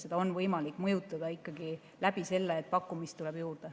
Seda on võimalik mõjutada ikkagi selle kaudu, et pakkumist tuleb juurde.